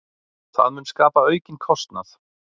Það mun skapa aukinn kostnað.